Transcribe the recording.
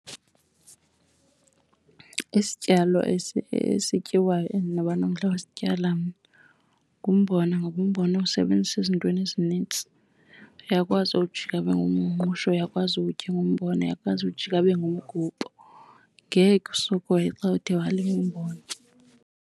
Isityalo esityiwayo endinoba nomdla wosityala mna ngumbona ngoba umbona uwusebenzisa ezintweni ezinintsi. Uyakwazi uwujika abe ngumngqusho, uyakwazi uwutya ingumbona, uyakwazi uwujika abe ngumgubo. Ngeke usokole xa uthe walima umbona.